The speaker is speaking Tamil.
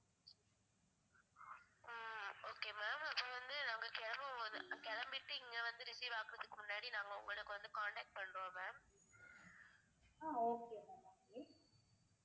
ah okay ma'am okay